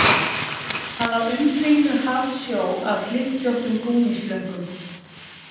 Hann var umkringdur hafsjó af hlykkjóttum gúmmíslöngum